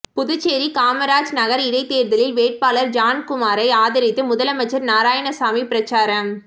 புதுச்சேரி காமராஜ் நகர் இடைத்தேர்தலில் வேட்பாளர் ஜான்குமாரை ஆதரித்து முதலமைச்சர் நாராயணசாமி பிரச்சாரம்